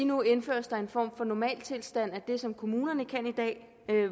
nu indføres der en form for normaltilstand af det som kommunerne kan i dag